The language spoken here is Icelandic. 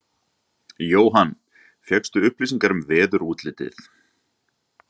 Jóhann: Fékkstu upplýsingar um veðurútlitið?